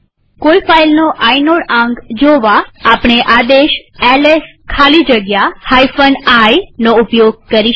કોઈ ફાઈલનો આઇનોડ આંક જોવા આપણે આદેશ એલએસ સ્પેસ iનો ઉપયોગ કરી શકીએ